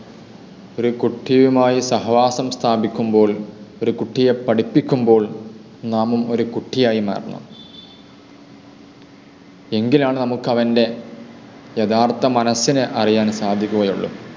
ഒരു കുട്ടിയുമായി സഹവാസം സ്ഥാപിക്കുമ്പോൾ, ഒരു കുട്ടിയെ പഠിപ്പിക്കുമ്പോൾ നാമും ഒരു കുട്ടിയായി മാറുന്നു. എങ്കിലാണ് നമുക്ക് അവൻ്റെ യഥാർത്ഥ മനസിനെ അറിയുവാൻ സാധിക്കുകയുള്ളു.